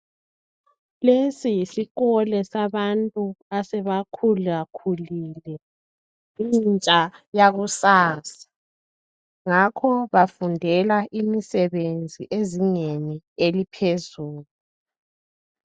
Lesi yisikole sabantu asebakhulakhulile. Intsha yakusasa. Ngakho bafundela imisebenzi ezingeni eliphezulu.